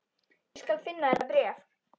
Ég skal finna þetta bréf